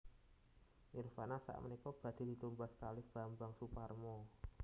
Nirvana sakmenika badhe ditumbas kalih Bambang Soeparmo